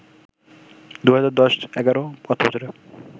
২০১০-১১ অর্থবছরে